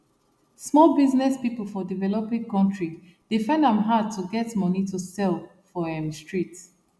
small business people for developing country dey find am hard to get money to sell for um street